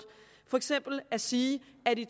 for eksempel sige at i